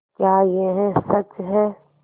क्या यह सच है